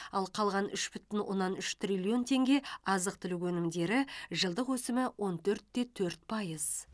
ал қалған үш бүтін оннан үш триллион теңге азық түлік өнімдері жылдық өсімі он төрт те төрт пайыз